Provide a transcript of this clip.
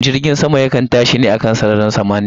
Jirgin sama yakan tashi ne a kan sararin samaniya